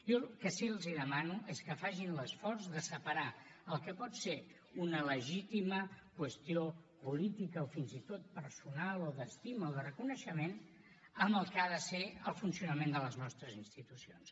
jo el que sí els demano és que facin l’esforç de separar el que pot ser una legítima qüestió política o fins i tot personal o d’estima o de reconeixement amb el que ha de ser el funcionament de les nostres institucions